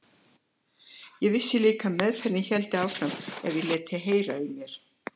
Ég vissi líka að meðferðin héldi áfram ef ég léti heyra í mér.